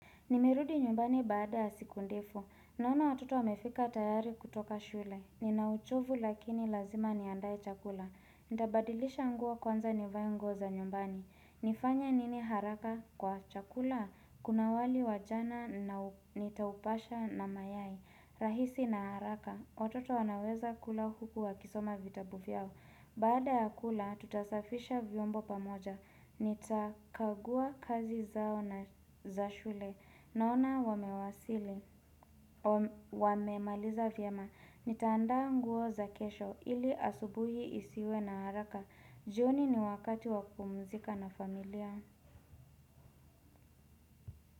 Nimerudi nyumbani baada ya siku ndefu. Naona watoto wamefika tayari kutoka shule. Ninauchovu lakini lazima niandae chakula. Nitabadilisha nguo kwanza nivae nguo za nyumbani. Nifanya nini haraka kwa chakula? Kuna wali wa jana na nitaupasha na mayai. Rahisi na haraka. Watoto wanaweza kula huku wa kisoma vitabu vyao. Baada ya kula, tutasafisha vyombo pamoja. Nitakagua kazi zao na za shule. Naona wamewasili, wamemaliza vyama, nitaanda nguo za kesho ili asubuhi isiwe na haraka, joni ni wakati wakupumzika na familia.